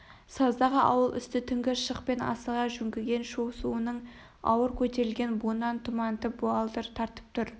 саздағы ауыл үсті түнгі шық пен асыға жөңкіген шу суының ауыр көтерілген буынан тұмантып буалдыр тартып тұр